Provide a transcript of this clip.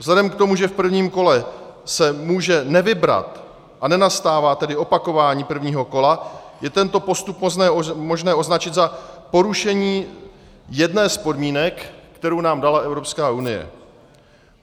Vzhledem k tomu, že v prvním kole se může nevybrat a nenastává tedy opakování prvního kola, je tento postup možné označit za porušení jedné z podmínek, kterou nám dala Evropská unie.